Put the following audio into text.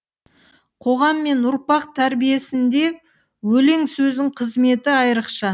қоғам мен ұрпақ тәрбиесінде өлең сөздің қызметі айрықша